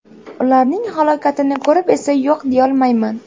Ularning holatini ko‘rib esa yo‘q deyolmayman.